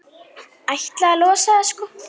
Ætlaði að losa það, sko.